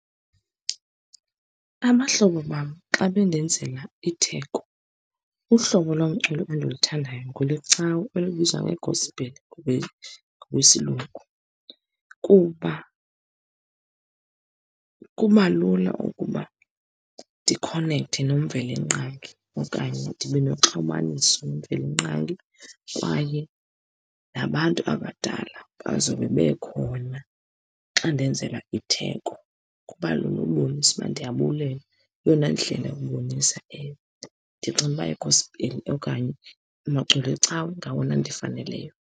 Abahlobo bam xa bendenzela itheko, uhlobo lomculo endiluthandayo ngolwecawa elibizwa ngegosipeli ngokwesilungu, kuba kuba lula ukuba ndikhonethe noMveli-Nqangi okanye ndibe noxhumaniso noMveli-Nqangi. Kwaye nabantu abadala bazobe bekhona xa ndenzelwa itheko, kuba lula ukubonisa ukuba ndiyabulela. Ngeyona ndlela yokubonisa elo, ndicinga uba igospeli okanye amaculo ecawa ngawona andifaneleyo.